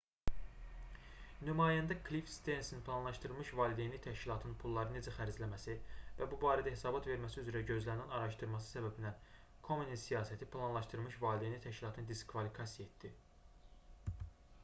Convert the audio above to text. nümayəndə klif sternsin planlaşdırılmış valideynlik təşkilatının pulları necə xərcləməsi və bu barədə hesabat verməsi üzrə gözlənilən araşdırması səbəbindən komenin siyasəti planlaşdırılmış valideynlik təşkilatını diskvalifikasiya etdi